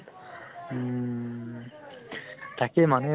উম । তাকে মানুহে